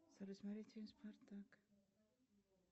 салют смотреть фильм спартак